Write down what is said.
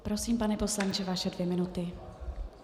Prosím, pane poslanče, vaše dvě minuty.